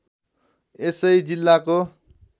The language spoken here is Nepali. यसै जिल्लाको